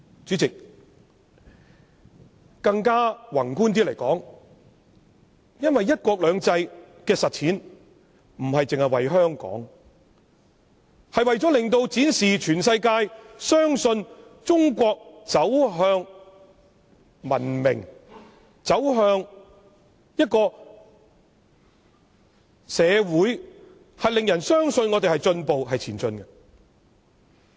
主席，說得宏觀一些，"一國兩制"的實踐，不僅是為了香港，也是為了令全世界相信中國走向文明，令人相信我們有進步、是正在前進的。